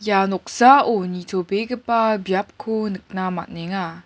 ia noksao nitobegipa biapko nikna man·enga.